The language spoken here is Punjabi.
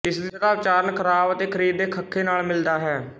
ਇਸ ਦਾ ਉਚਾਰਣ ਖ਼ਰਾਬ ਅਤੇ ਖ਼ਰੀਦ ਦੇ ਖ ਨਾਲ ਮਿਲਦਾ ਹੈ